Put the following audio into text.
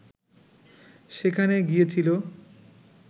সেখানে গিয়েছিল